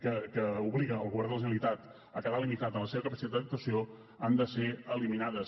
que obliga el govern de la generalitat a quedar limitat en la seva capacitat d’actuació han de ser eliminades